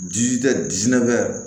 Ji tɛ dinɛ